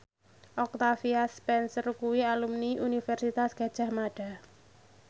Octavia Spencer kuwi alumni Universitas Gadjah Mada